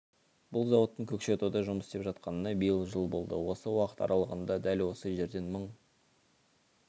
бұл зауыттың көкшетауда жұмыс істеп жатқанына биыл жыл болды осы уақыт аралығында дәл осы жерден мың